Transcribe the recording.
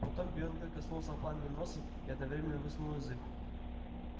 потом белый клык коснулся пламени носом и одновременно высунул язык